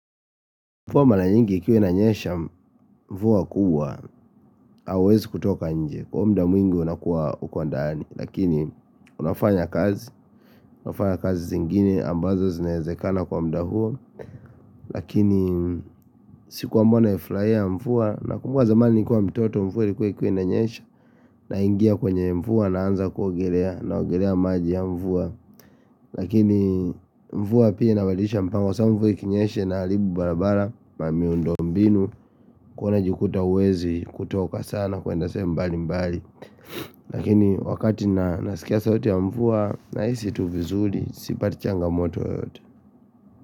Mvua malanyingi ikiwa inanyesha mvua kubwa, hauwezi kutoka nje, kwa mda mwingi unakuwa uko ndaani, lakini unafanya kazi, unafanya kazi zingine ambazo zinaezekana kwa mda huo Lakini sikuwa mwana naflaia mvua, nakumbuka zamani nikuwa mtoto mvua ilikuwa kwa inanyesha, naingia kwenye mvua naanza kuogelea, naogelea maji ya mvua Lakini mvua pia inabadilisha mpango sababu mvua ikinyeshe inaalibu barabara na miundombinu kuwa unajikuta uwezi kutoka sana kuenda sehemu mbali mbali Lakini wakati na nasikia sauti ya mvua Nahisi tu vizuri sipati changamoto yoyote.